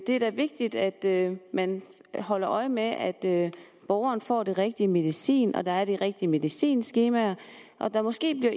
er da vigtigt at man holder øje med at borgeren får den rigtige medicin og at der er de rigtige medicinskemaer og at man måske